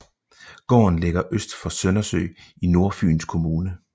Gården ligger øst for Søndersø i Nordfyns Kommune